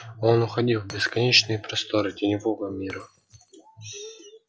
он уходил в бесконечные просторы теневого мира